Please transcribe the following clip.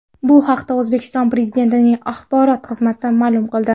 Bu haqda O‘zbekiston Prezidentining axborot xizmati ma’lum qildi .